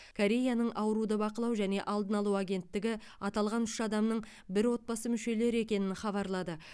кореяның ауруды бақылау және алдын алу агенттігі аталған үш адамның бір отбасы мүшелері екенін хабарлады